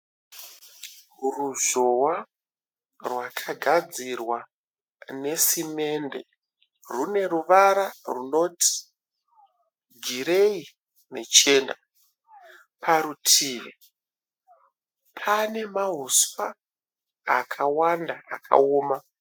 Ruzhowa rwakagadzirwa nesimende. Rune ruvara runoti gireyi nechena. Parutivi pane mahuswa akawanda akawoma.